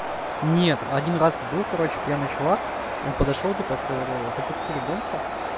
нет один раз был короче пьяный чувак он подошёл типа говорил запусти ребёнка